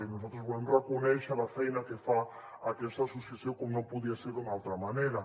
nosaltres volem reconèixer la feina que fa aquesta associació com no podia ser d’una altra manera